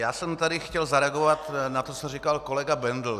Já jsem tady chtěl zareagovat na to, co říkal kolega Bendl.